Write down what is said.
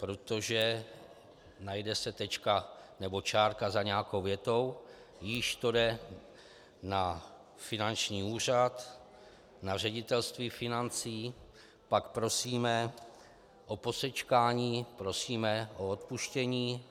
Protože najde se tečka nebo čárka za nějakou větou, již to jde na finanční úřad, na ředitelství financí, pak prosíme o posečkání, prosíme o odpuštění.